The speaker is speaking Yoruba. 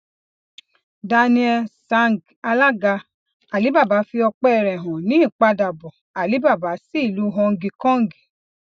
daniel zhang alaga alibaba fi ọpẹ rẹ han ni ipadabọ alibaba si ilu họngi kọngi